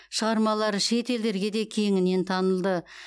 шығармалары шет елдерге де кеңінен танылды